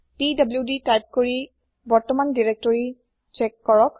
PDD type কৰি বৰ্তমান directory check কৰক